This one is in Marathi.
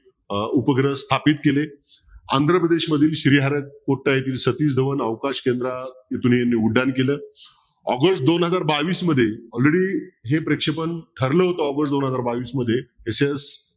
अह उपग्रह स्थापित केले आंध्रप्रदेशमधील येथील सतीश धवन अवकाश केंद्रातून उड्डाण केलं ऑगस्ट दोन हजार बावीस मध्ये already हे प्रेक्षपण ठरलं होत दोन हजार बावीस मध्ये SS